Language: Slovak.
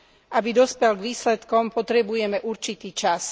Aby dospel k výsledkom, potrebujeme určitý čas.